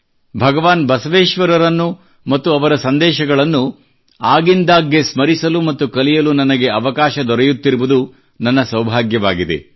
ಭಗವಾನ್ ಬಸವೇಶ್ವರರನ್ನು ಮತ್ತು ಅವರ ಸಂದೇಶಗಳನ್ನು ಆಗಿಂದಾಗ್ಗೆ ಸ್ಮರಿಸಲು ಮತ್ತು ಕಲಿಯಲು ನನಗೆ ಅವಕಾಶ ದೊರೆಯುತ್ತಿರುವುದು ನನ್ನ ಸೌಭಾಗ್ಯವಾಗಿದೆ